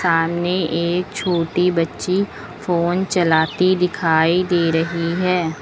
सामने एक छोटी बच्ची फोन चलाती दिखाई दे रही है।